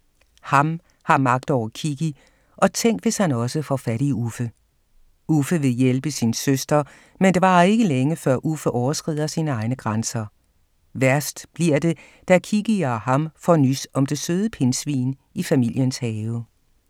Ham har magt over Kikki, og tænk hvis han også får fat i Uffe. Uffe vil hjælpe sin søster, men det varer ikke længe, før Uffe overskrider sine egne grænser. Værst bliver det, da Kikki og Ham får nys om det søde pindsvin i familiens have.